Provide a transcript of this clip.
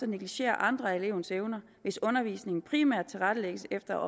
negligere andre af elevens evner hvis undervisningen primært tilrettelægges efter